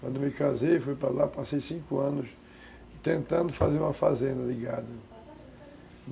Quando me casei, fui para lá, passei cinco anos tentando fazer uma fazenda de gado